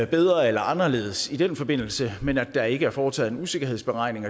bedre eller anderledes i den forbindelse men at der ikke er blevet foretaget en usikkerhedsberegning